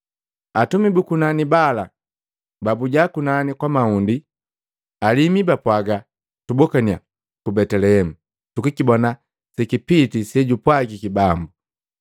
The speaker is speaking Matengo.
Atumi bu kunani bala pababuja kunani kwa mahundi, alimu bapwagannya, “Tubokannya ku Betelehemu tukikibona sekipiti, sejutupwagi bambu.”